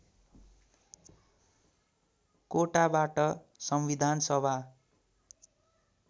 कोटाबाट संविधान सभा